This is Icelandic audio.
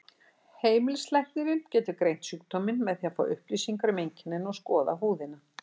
Heimilislæknir getur greint sjúkdóminn með því að fá upplýsingar um einkennin og skoða húðina.